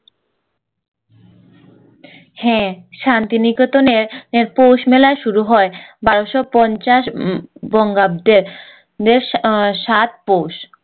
হ্যাঁ শান্তিনিকেতনের পৌষমেলায় শুরু হয় বারোশো পঞ্চাশ উম বঙ্গাব্দে সাত পৌষ